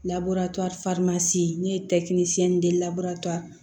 ne ye labure